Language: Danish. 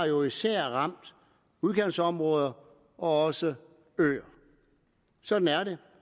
jo især har ramt udkantsområder og også øer sådan er det